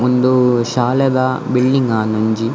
ಉಂದು ಶಾಲೆದ ಬಿಲ್ಡಿಂಗ್ ಆಂದ್ ಒಂಜಿ .